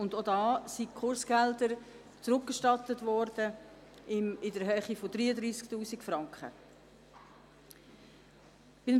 Diesbezüglich wurden Kursgelder in Höhe von 33 000 Franken zurückerstattet.